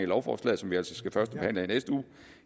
lovforslag som vi altså skal førstebehandle i